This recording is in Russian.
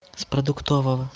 с продуктового